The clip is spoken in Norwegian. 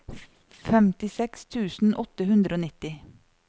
femtiseks tusen åtte hundre og nitti